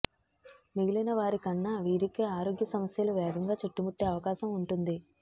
మిగిలిన వారికన్నా వీరికే ఆరోగ్య సమస్యలు వేగంగా చుట్టుముట్టే అవకాశం ఉంటుంది